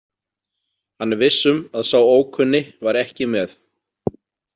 Hann er viss um að sá ókunni var ekki með.